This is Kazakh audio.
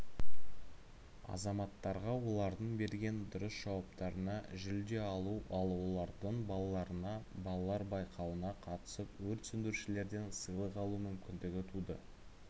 азаматтарға олардың берген дұрыс жауаптарына жүлде алу ал олардың балаларына балалар байқауына қатысып өрт сөндірушілерден сыйлық алу мүмкіндігі туды